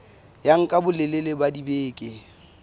ya nka bolelele ba dibeke